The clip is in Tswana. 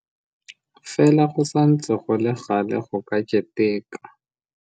Fela go santse go le gale go ka keteka.